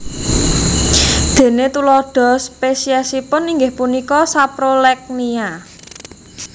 Déné tuladha spesiesipun inggih punika Saprolegnia